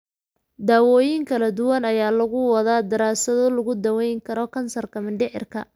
Daawooyin kala duwan ayaa lagu wadaa daraasado lagu daweyn karo kansarka mindhicirka.